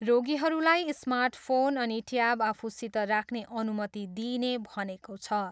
रोगीहरूलाई smart phone अनि tab आफूसित राख्ने अनुमति दिइने भनेको छ।